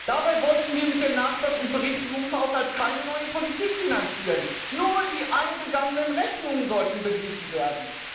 Dabei wollten wir mit dem Nachtrags und Berichtigungshaushalt keine neue Politik finanzieren, nur die eingegangenen Rechnungen sollten beglichen werden.